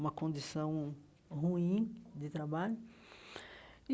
uma condição ruim de trabalho e.